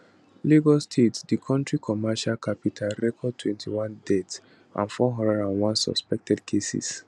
lagos state di kontri commercial capital record 21 deaths and 401 suspected cases